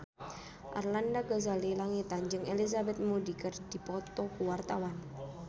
Arlanda Ghazali Langitan jeung Elizabeth Moody keur dipoto ku wartawan